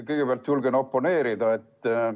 Kõigepealt julgen oponeerida.